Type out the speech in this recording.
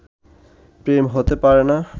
প্রেম হতে পারে না